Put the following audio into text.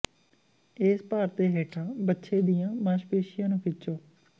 ਇਸ ਭਾਰ ਦੇ ਹੇਠਾਂ ਵੱਛੇ ਦੀਆਂ ਮਾਸਪੇਸ਼ੀਆਂ ਨੂੰ ਖਿੱਚੋ